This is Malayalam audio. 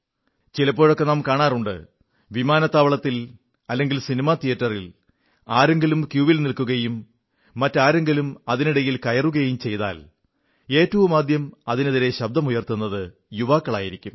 ചിലപ്പോഴൊക്കെ നാം കാണാറുണ്ട് വിമാനത്താവളത്തിൽ അല്ലെങ്കിൽ സിനിമാ തിയേറ്ററിൽ ആരെങ്കിലും ക്യൂവിൽ നില്ക്കുകയും മറ്റാരെങ്കിലും അതിനിടയിൽ കയറുകയും ചെയ്താൽ ഏറ്റവുമാദ്യം അതിനെതിരെ ശബ്ദമുയർത്തുന്നത് യുവാക്കളായിരിക്കും